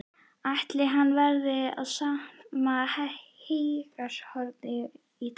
Ætli hann verði við sama heygarðshornið í dag?